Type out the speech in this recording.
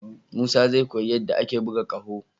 Musa zai koyi yadda ake buga ƙaho.